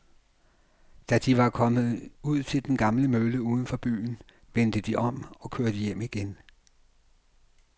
Da de var kommet ud til den gamle mølle uden for byen, vendte de om og kørte hjem igen.